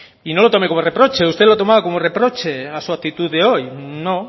y no lo tome como reproche usted lo tomaba como reproche a su actitud de hoy no